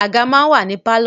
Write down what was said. Àga máa ń wà ní pálọ̀